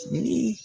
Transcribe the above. Ni